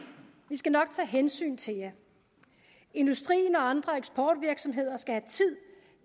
vi skal nok tage hensyn til jer industrien og andre eksportvirksomheder skal have tid